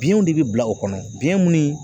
Biyɛnw de bɛ bila o kɔnɔ biyɛn minnu